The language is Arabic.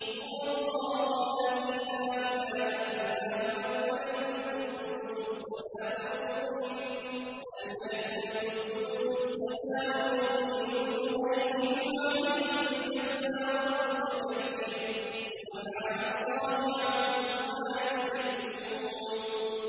هُوَ اللَّهُ الَّذِي لَا إِلَٰهَ إِلَّا هُوَ الْمَلِكُ الْقُدُّوسُ السَّلَامُ الْمُؤْمِنُ الْمُهَيْمِنُ الْعَزِيزُ الْجَبَّارُ الْمُتَكَبِّرُ ۚ سُبْحَانَ اللَّهِ عَمَّا يُشْرِكُونَ